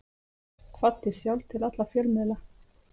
Kvaddi sjálf til alla fjölmiðla.